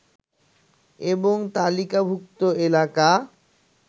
এবং তালিকাভুক্ত এলাকা